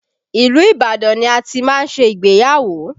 Ilu Ibadan ni a ti máa ṣe ìgbéyàwó